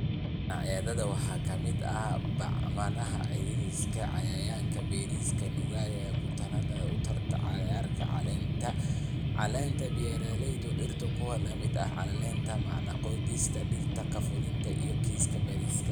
"Cayayaannada waxaa ka mid ah bacaha, crickets, cayayaanka bariiska nuugaya, kutaannada urta cagaarka ah, caleenta caleenta, beeraleyda dhirta, kuwa lamid ah caleenta macdan qodista, digirta qallafsan iyo kiis bariis."